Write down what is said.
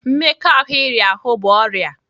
Mmekọahụ iri ahụ bụ ọrịa.